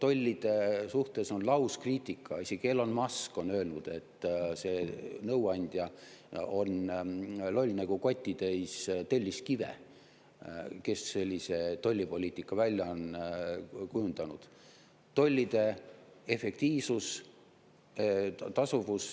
Tollide suhtes on lauskriitika, isegi Elon Musk on öelnud, et see nõuandja, kes sellise tollipoliitika on kujundanud, on loll nagu kotitäis telliskive.